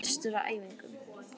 Ég var samt bestur á æfingum.